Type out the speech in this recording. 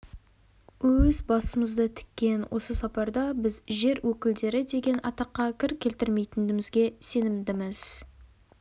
өз басымызды тіккен осы сапарда біз жер өкілдері деген атаққа кір келтірмейтінімізге сенімдіміз